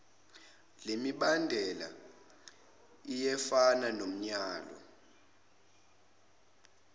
lemibandela iyefana nomyalo